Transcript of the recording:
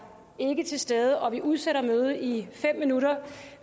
ikke til stede og vi udsætter mødet i fem minutter